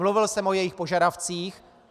Mluvil jsem o jejich požadavcích.